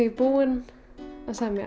búin að semja